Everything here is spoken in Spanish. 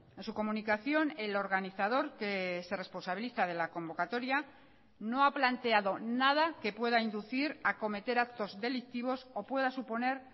en su comunicación el organizador que se responsabiliza de la convocatoria no ha planteado nada que pueda inducir a cometer actos delictivos o pueda suponer